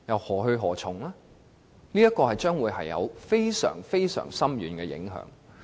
政府的做法將會造成非常深遠的影響。